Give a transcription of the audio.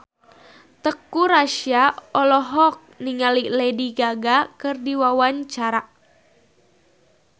Teuku Rassya olohok ningali Lady Gaga keur diwawancara